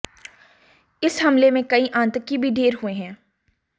इस हमले में कई आतंकी भी ढेर हुए हैं